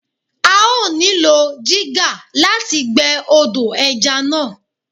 A ó nílò jígà láti gbẹ́ odò ẹja náà.